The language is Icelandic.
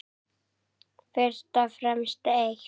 Fyrst og fremst eitt.